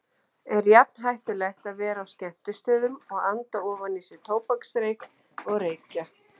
Er jafn hættulegt að vera á skemmtistöðum og anda ofan í sig tóbaksreyk og reykja?